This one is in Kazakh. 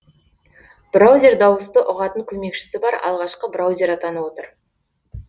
браузер дауысты ұғатын көмекшісі бар алғашқы браузер атанып отыр